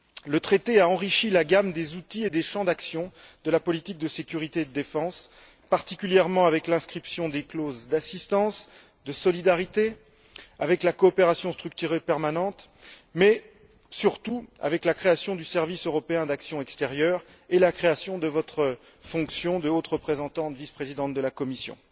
Le Traité a enrichi la gamme des outils et des champs d'action de la politique de sécurité et de défense, particulièrement avec l'inscription des clauses d'assistance, de solidarité, avec la coopération structurée permanente mais, surtout, avec la création du service européen d'action extérieure et la création de votre fonction de haute représentante, vice présidente de la Commission.